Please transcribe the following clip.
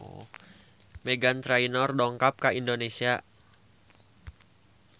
Meghan Trainor dongkap ka Indonesia